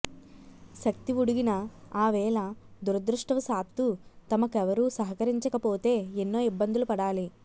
శక్తి ఉడిగిన ఆ వేళ దురదృష్టవశాత్తూ తమకెవరూ సహకరించకపోతే ఎన్నో ఇబ్బందులు పడాలి